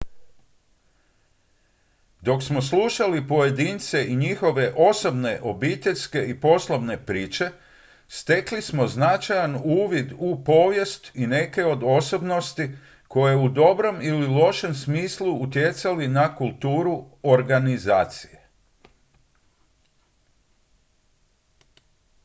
dok smo slušali pojedince i njihove osobne obiteljske i poslovne priče stekli smo značajan uvid u povijest i neke od osobnosti koje u dobrom ili lošem smislu utjecali na kulturu organizacije